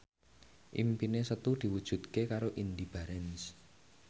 impine Setu diwujudke karo Indy Barens